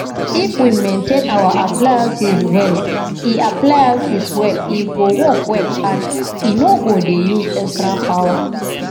if we maintain our appliances well e appliances well e go work well and e no go dey use extra power